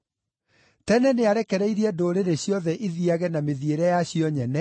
Tene, nĩarekereirie ndũrĩrĩ ciothe ithiiage na mĩthiĩre yacio nyene,